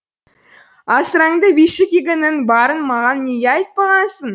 асыранды биші кигіңнің барын маған неге айтпағансың